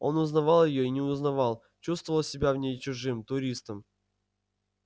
он узнавал её и не узнавал чувствовал себя в ней чужим туристом